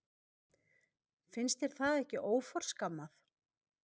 Finnst þér það ekki óforskammað?